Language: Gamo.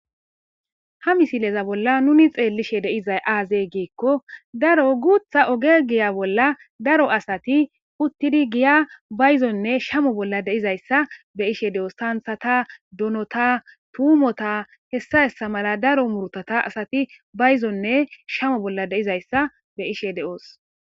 Ha misileza bolla nuni xeellishe deizay aazey geekko daro guutha ogegiya bolla daro asati puttiri giya bayzonne shamo bolla deizayssa be ishe de'oos taanthata donota tuumota hessa hessa mala daro murtota asati bayzonne shamo bolla deizayssa be ishe de'oos.